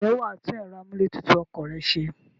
Ǹjẹ́ wà á tún ẹ̀rọ amúlé tutù ọkọ̀ rẹ se?